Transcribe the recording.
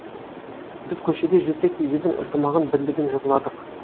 біз көшеде жүрсек те елдің ынтымағын бірлігін жырладық